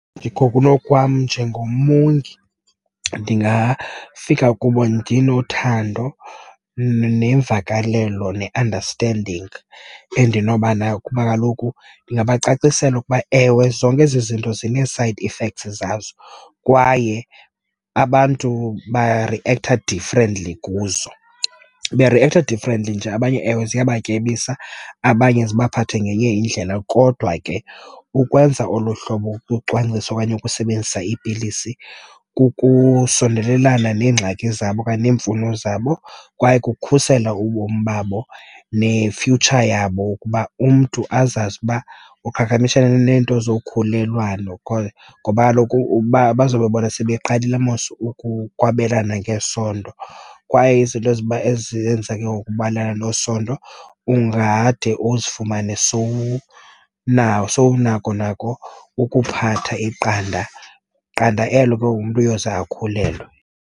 Ndikokunokwam njengomongi ndingafika kubo ndinothando nemvakalelo ne-understanding endinobanayo, kuba kaloku ndingabacacisela ukuba, ewe, zonke ezi zinto zinee-side effects zazo, kwaye abantu bariektha differently kuzo. Beriektha differently nje abanye ewe ziyabatyebisa, abanye zibaphathe ngenye indlela, kodwa ke ukwenza olu hlobo kucwangciso okanye ukusebenzisa iipilisi kukusondelelana neengxaki zabo okanye neemfuno zabo, kwaye kukukhusela ubomi babo ne-future yabo ukuba umntu azazi uba uqhagamshelana neento zokhulelwano because ngoba kaloku ukuba bazawube bona sebeqalile mos ukuba ukwabelana ngesondo kwaye izinto ezenza ke ngokubelana ngesondo ungade uzifumane nako ukuphatha iqanda, qanda elo ke ngoku umntu uyoze akhulelwe.